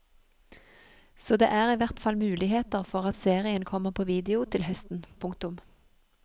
Så det er i hvert fall muligheter for at serien kommer på video til høsten. punktum